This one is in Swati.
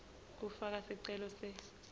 kufaka sicelo se